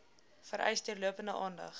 vereis deurlopende aandag